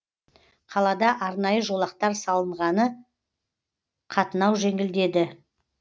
қалада арнайы жолақтар салынғаны қатынау жеңілдеді